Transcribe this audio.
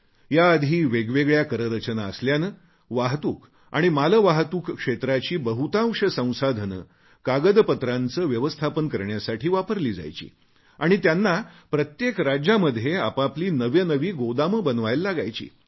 याआधी वेगवेगळ्या कररचना असल्याने वाहतूक आणि मालवाहतूक क्षेत्राची बहुतांश संसाधने कागदपत्रांचे व्यवस्थापन करण्यासाठी वापरली जायची आणि त्यांना प्रत्येक राज्यामध्ये आपापली नवी नवी गोदामे बनवावी लागायची